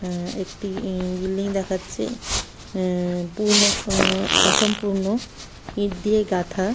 আহ একটি ই বিল্ডিং দেখাচ্ছে। আহ পুর্ণ আহ অসম্পূর্ণ । ইঁট দিয়ে গাঁথা।